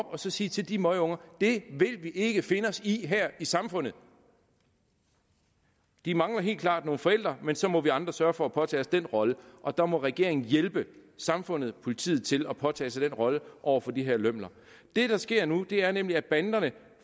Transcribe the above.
og sige til de møgunger det vil vi ikke finde os i her i samfundet de mangler helt klart nogle forældre men så må vi andre sørge for at påtage os den rolle og der må regeringen hjælpe samfundet og politiet til at påtage sig den rolle over for de her lømler det der sker nu er nemlig at banderne